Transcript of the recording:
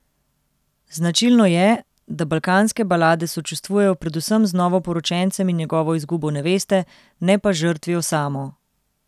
Značilno je, da balkanske balade sočustvujejo predvsem z novoporočencem in njegovo izgubo neveste, ne pa z žrtvijo samo.